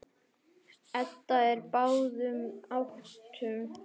Edda er á báðum áttum.